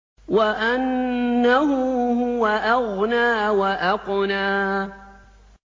وَأَنَّهُ هُوَ أَغْنَىٰ وَأَقْنَىٰ